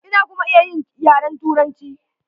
Ina kuma iya yin yaren Turanci.